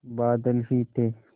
बादल ही थे